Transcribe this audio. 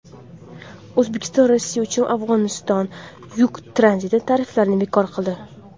O‘zbekiston Rossiya uchun Afg‘onistonga yuk tranziti tariflarini bekor qildi.